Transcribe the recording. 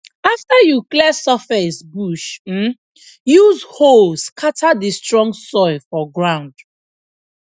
after you clear surface bush um use hoe scatter the strong soil for ground